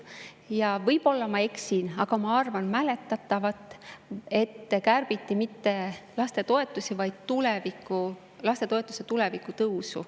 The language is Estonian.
Ja võib-olla ma eksin, aga ma mäletan, et kärbiti mitte lastetoetusi, vaid lastetoetuste tõusu tulevikus.